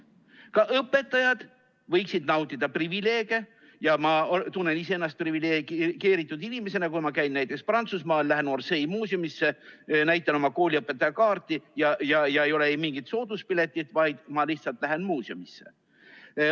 Ka õpetajad võiksid nautida privileege ja ma tunnen iseennast privilegeeritud inimesena, kui ma käin näiteks Prantsusmaal, lähen Orsay muuseumisse, näitan oma kooliõpetaja kaarti ja ei ole mingit sooduspiletit, vaid ma lihtsalt lähen muuseumisse.